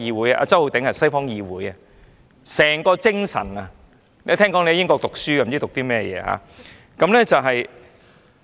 周浩鼎議員，這是西方議會的精神，聽聞你在英國讀書，不知你讀了甚麼。